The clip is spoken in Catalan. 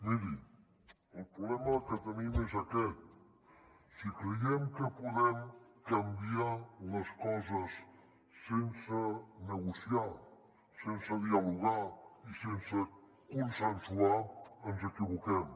miri el problema que tenim és aquest si creiem que podem canviar les coses sense negociar sense dialogar i sense consensuar ens equivoquem